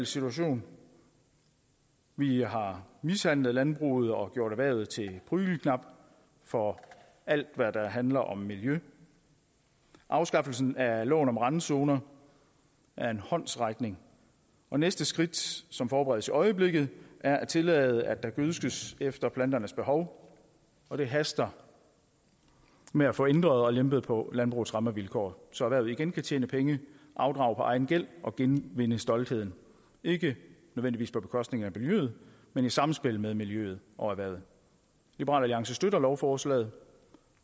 situation vi har mishandlet landbruget og gjort erhvervet til prygelknabe for alt hvad der handler om miljø afskaffelsen af loven om randzoner er en håndsrækning og næste skridt som forberedes i øjeblikket er at tillade at der gødskes efter planternes behov og det haster med at få ændret og lempet på landbrugets rammevilkår så erhvervet igen kan tjene penge afdrage på egen gæld og genvinde stoltheden ikke nødvendigvis på bekostning af miljøet men i samspil med miljøet og erhvervet liberal alliance støtter lovforslaget